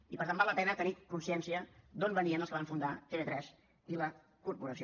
i per tant val la pena tenir consciència d’on venien els que van fundar tv3 i la corporació